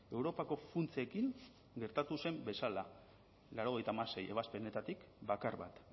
europako funtsekin gertatu zen bezala laurogeita hamasei ebazpenetatik bakar bat